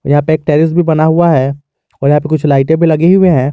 यहां पे एक टेरिस भी बना हुआ है और यहां पे कुछ लाइटें भी लगी हुई हैं।